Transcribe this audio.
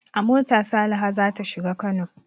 A mota Saliha za ta shiga Kano.